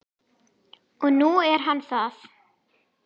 Og nú er hann það.